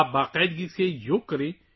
آپ کو باقاعدگی سے یوگا کرنا چاہئے